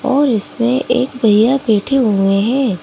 और इसमे एक भईया बैठे हुए हैं।